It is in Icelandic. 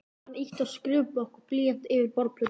Hann ýtti skrifblokk og blýanti yfir borðplötuna.